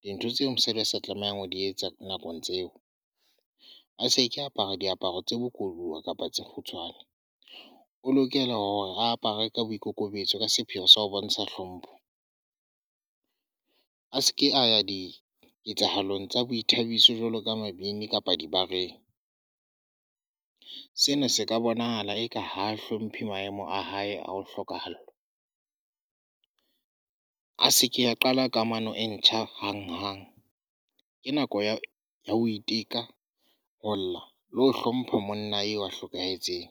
Dintho tseo mosadi a sa tlamehang ho di etsa nakong tseo, a se ke apara diaparo tse bokowa kapa tse kgutshwane. O lokela hore a apare ka boikokobetso ka sepheho sa ho bontsha hlompho. A seke a ya di ketsahalong tsa boithabiso jwalo ka mabidi kapa dibareng. Sena se ka bonahala eka ha a hlomphe maemo a hae a ho hlokahallwa. A se ke ya qala kamano e ntjha hang-hang. Ke nako ya ho iteka, ho lla, le ho hlompha monna eo a hlokahetseng.